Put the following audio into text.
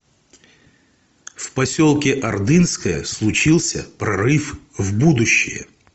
в поселке ордынское случился прорыв в будущее